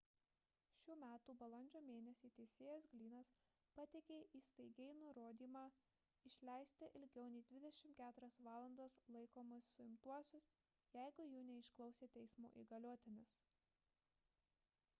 šių metų balandžio mėnesį teisėjas glynnas pateikė įstaigai nurodymą išleisti ilgiau nei 24 valandas laikomus suimtuosius jeigu jų neišklausė teismo įgaliotinis